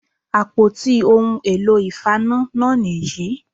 Àpótí ohun èlò ìfaná náà nì yí